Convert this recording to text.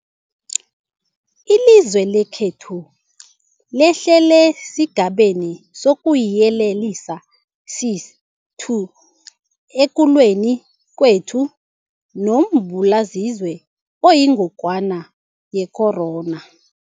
Ilizwe lekhethu lehlele esiGabeni sokuYelelisa sesi-2 ekulweni kwethu nombulalazwe oyingogwana ye-corona.